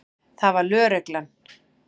Það var lögreglan.